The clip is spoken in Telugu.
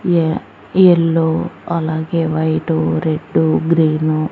ఏ యెల్లో అలాగే వైటు రెడ్డు గ్రీను --